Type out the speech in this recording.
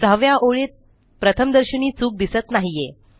सहाव्या ओळीत प्रथमदर्शनी चूक दिसत नाहीये